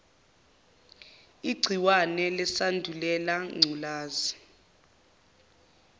igciwane lesandulela ngculazi